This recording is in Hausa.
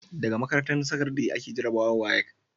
Daga makarantar sakandari ake jarabawar WAEC